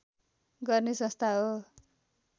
गर्ने संस्था हो